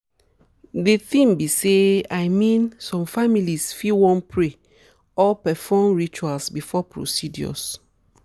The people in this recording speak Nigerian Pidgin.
de tin be say i mean some families fit wan pray or perform rituals before procedures.